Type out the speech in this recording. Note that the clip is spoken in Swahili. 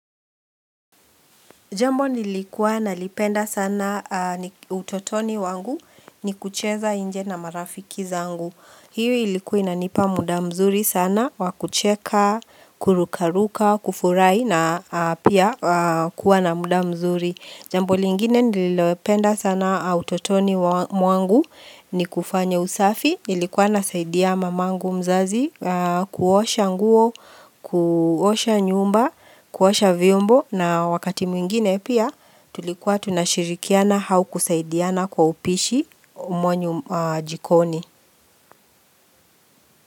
Jambo nilikuwa na lipenda sana utotoni wangu ni kucheza nje na marafiki zangu. Hiu ilikuwa ina nipa muda mzuri sana, wakucheka, kurukaruka, kufurahi na pia kuwa na muda mzuri. Jambo lingine nilipenda sana utotoni wangu ni kufanya usafi. Ilikuwa na saidia mamangu mzazi kuosha nguo, kuosha nyumba, kuosha viombo na wakati mwingine pia tulikuwa tunashirikiana au kusaidiana kwa upishi umo jikoni.